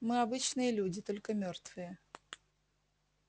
мы обычные люди только мёртвые